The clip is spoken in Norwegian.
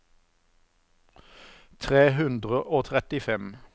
tre hundre og trettifem